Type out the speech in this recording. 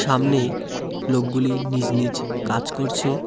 সামনে লোকগুলি নিজ নিজ কাজ করছে।